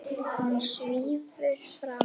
Hún svífur fram.